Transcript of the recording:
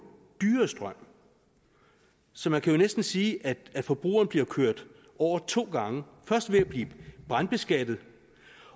dyrere strøm så man kan jo næsten sige at forbrugerne bliver kørt over to gange først ved at blive brandskattet